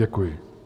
Děkuji.